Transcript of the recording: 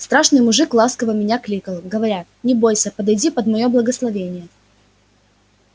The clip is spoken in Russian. страшный мужик ласково меня кликал говоря не бойсь подойди под моё благословение